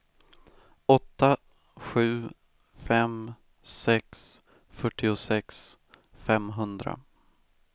åtta sju fem sex fyrtiosex femhundra